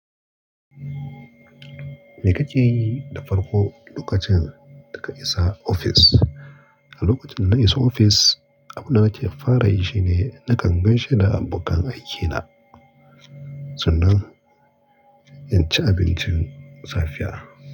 Me ka ke da farko lokacin da ka isa ofis? Lokacin da na isa ofis, abunda nake fara yi shine nakan gaishe da abokan aikina sannan in ci abincin safiya.